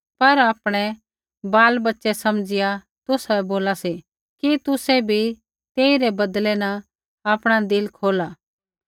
पर आपणै बालबच्चै समझिया तुसाबै बोला सा कि तुसै भी तेई रै बदले न आपणा दिल खोला